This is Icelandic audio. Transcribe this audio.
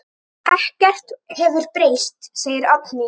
Ekkert hefur breyst, segir Oddný.